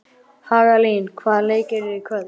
Hagalín, hvaða leikir eru í kvöld?